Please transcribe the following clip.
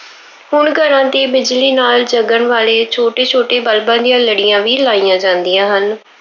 ਹੁਣ ਘਰਾਂ ਤੇ ਬਿਜਲੀ ਨਾਲ ਜਗਣ ਵਾਲੇ ਛੋਟੇ ਛੋਟੇ ਬਲਬਾਂ ਦੀਆਂ ਲੜੀਆਂ ਵੀ ਲਾਈਆਂ ਜਾਂਦੀਆਂ ਹਨ।